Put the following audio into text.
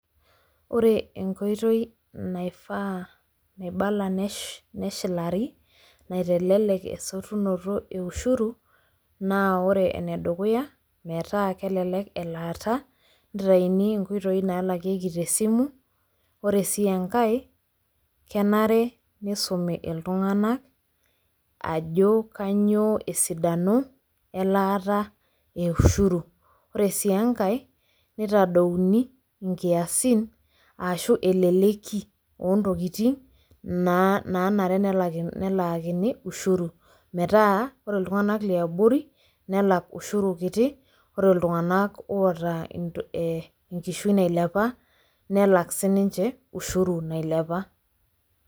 ore enkoitoi naifaa, naibala neshilari naitelelk esotunoto e ushuru. naa ore ene dukuya metaa kelelek elaata, nitayuni inkoitoi naalakieki te simu, ore sii enkae kenare nisumi iltunganak ajo kainyioo esidano, elaata eushuru. ore sii enkae, nitadouni inkiasin aashu eleleki, oo ntokitin naanare nelakini ushuru. metaa ore iltunganak liabori nelak ushuru kiti. ore iltunganak loota ee enkishui nailepa nelak sii ninche ushuru nailepa.